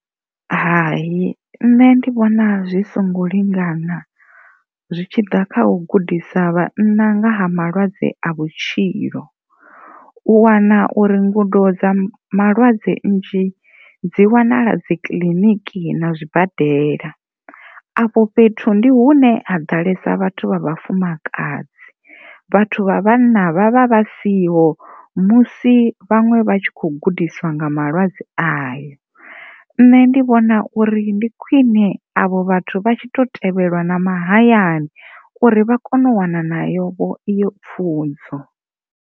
Hai, nṋe ndi vhona zwi songo lingana zwi tshi ḓa kha u gudisa vhanna nga ha malwadze a vhutshilo u wana uri ngudo dza malwadze nnzhi dzi wanala dzikiḽiniki na zwibadela afho fhethu ndi hune ha ḓalesa vhathu vha vhafumakadzi, vhathu vha vhanna vha vha vha siho musi vhaṅwe vha tshi kho gudisiwa nga malwadze ayo nṋe ndi vhona uri ndi khwine avho vhathu vha tshi to tevhelwa na mahayani uri vha kone u wana vho eyo pfhunzo.